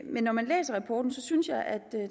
men når man læser rapporten synes jeg at